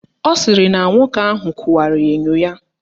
Ọ sịrị na nwoke ahụ kụwara enyo ya.